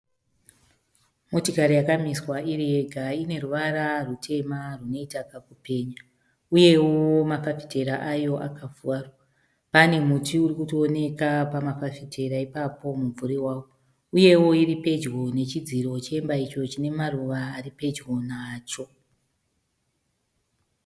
Motikari yaka miswa iri yega ine ruvara rutema runoita kaku penya. Uyewo mafafitera ayo aka kura. Pane muti uri kutooneka pama fafitera ipapo mubvuri wawo. Uyewo iri pedyo nechidziro chemba icho chine maruva ari pedyo nacho.